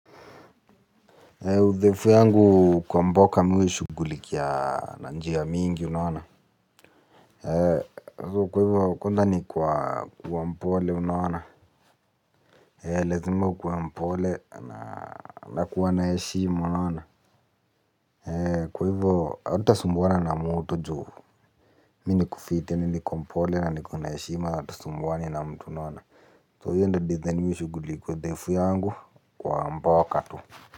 Uthaifu yangu kwa mboka mi huishugulikia na njia mingi unaona. Kwa hivyo konda ni kwa mpole unaona. Lazima ukue mpole na kuwa naeshimu unaona. Kwa hivyo hautasumbuana na mutu juhu. Mi ni kufite ni ni kwa mpole na ni kuwa naeshima hatusumbuani na mtu unaona. Kwa hivyo nda design miwe shuguliku uthaifu yangu kwa mboka tu.